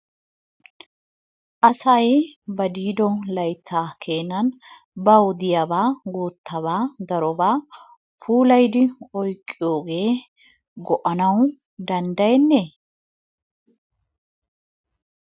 Asay ba diido layttaa keenan bawu diyaabaa guuttabaa darobaa puulayidi oyqqiyoogee go"anawu danddayennee?